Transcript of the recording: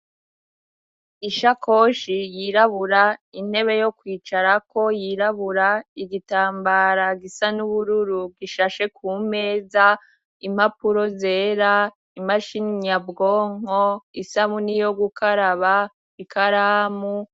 Ishakoshi yirabura intebe yo kwicara ko yirabura igitambara gisa n'ubururu gishashe ku meza impapuro zera imashini nyabwonko isabuni yo gukaraba ikaramu.